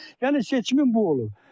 Yəni seçimin bu olub.